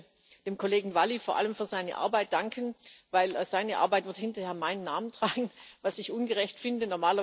Ich möchte dem Kollegen Valli vor allem für seine Arbeit danken, denn seine Arbeit wird hinterher meinen Namen tragen, was ich ungerecht finde.